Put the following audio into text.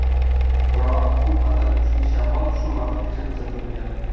Biroq bu qadar kuchli shamol shu vaqtgacha kuzatilmagan.